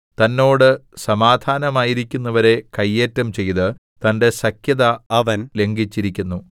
തന്നോട് സമാധാനമായിരിക്കുന്നവരെ കയ്യേറ്റം ചെയ്ത് തന്റെ സഖ്യത അവൻ ലംഘിച്ചിരിക്കുന്നു